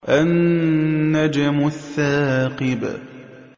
النَّجْمُ الثَّاقِبُ